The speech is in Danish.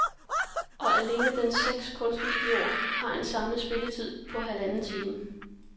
Alene dens seks kunstvideoer har en samlet spilletid på halvanden time.